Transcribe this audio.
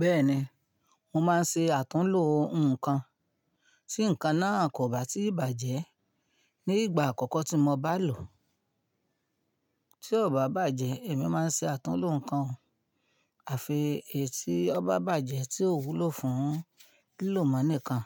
Bẹ́ẹ̀ni, mo máa ń ṣe àtúnlo nǹkan si nǹkan náà kò bá tíì bàjẹ́ ní ìgbà àkọ́kọ́ tí mo bá lò ó. Tí ó bá bàjẹ́, èmi máa ń ṣe àtúnlo nǹkan àfihèé tí ó bá bàjẹ́ tí ó wúlò fún lílò mọ́ nìkan